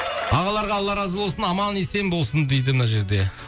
ағаларға алла разы болсын аман есен болсын дейді мына жерде